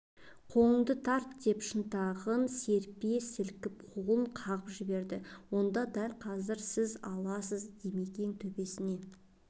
қолыңды тарт деп шынтағын серпе сілкіп қолын қағып жіберді онда дәл қазір сіз аласыз димекең төбесіне